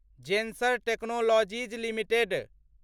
Zensar technologies limited